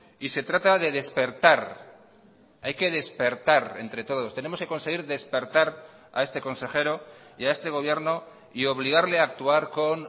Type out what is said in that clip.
y se trata de despertar hay que despertar entre todos tenemos que conseguir despertar a este consejero y a este gobierno y obligarle a actuar con